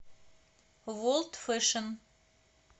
ворлд фэшн